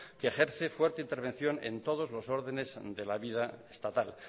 que ejerce fuerte intervención en todos los ordenes de la vida estatal